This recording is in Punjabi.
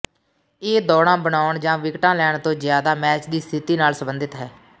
ਇਹ ਦੌੜਾਂ ਬਣਾਉਣ ਜਾਂ ਵਿਕਟਾਂ ਲੈਣ ਤੋਂ ਜ਼ਿਆਦਾ ਮੈਚ ਦੀ ਸਥਿਤੀ ਨਾਲ ਸਬੰਧਤ ਹੈ